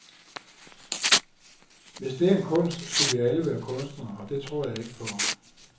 Hvis det er en kunst skulle vi alle være kunstnere, og det tror jeg ikke på.